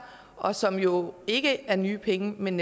og som jo ikke er nye penge men